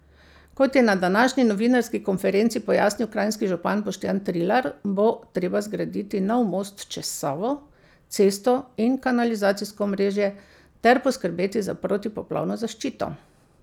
Kot je na današnji novinarski konferenci pojasnil kranjski župan Boštjan Trilar, bo treba zgraditi nov most čez Savo, cesto in kanalizacijsko omrežje ter poskrbeti za protipoplavno zaščito.